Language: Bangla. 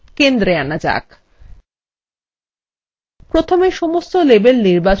এরপর শিরোলেখ লেবেলগুলিকে কেন্দ্রে আনা যাক